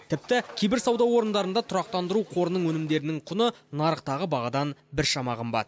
тіпті кейбір сауда орындарында тұрақтандыру қорының өнімдерінің құны нарықтағы бағадан біршама қымбат